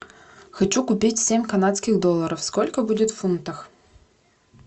хочу купить семь канадских долларов сколько будет в фунтах